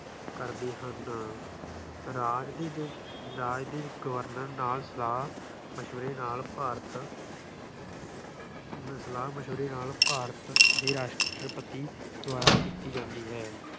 ਕਰਦੇ ਹਨ। ਰਾਜ ਦੇ ਜੋ ਰਾਜ ਦੇ ਗਵਰਨਰ ਨਾਲ ਸਲਾਹ ਮਸ਼ਵਰੇ ਨਾਲ ਭਾਰਤ ਸਲਾਹ ਮਸ਼ਵਰੇ ਨਾਲ ਭਾਰਤ ਦੇ ਰਾਸ਼ਟਰਪਤੀ ਦੁਆਰਾ ਕੀਤੀ ਜਾਂਦੀ ਹੈ।